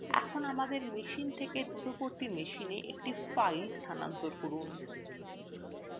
এখন আমাদের machine থেকে দূরবর্তী machine একটি file স্থানান্তর করুন